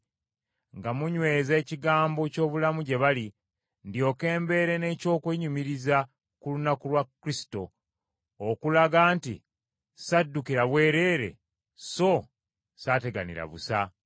nga munyweza ekigambo ky’obulamu gye bali, ndyoke mbeere n’eky’okwenyumiriza ku lunaku lwa Kristo, okulaga nti ssaddukira bwereere so ssaateganira busa.